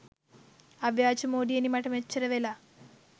අව්‍යාජා මෝඩියනි මට මෙච්චරවෙලා